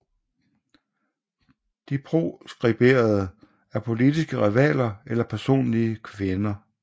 De proskriberede er politiske rivaler eller personlige fjender